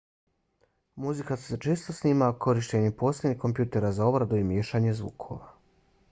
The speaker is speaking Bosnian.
muzika se često snima korištenjem posebnih kompjutera za obradu i miješanje zvukova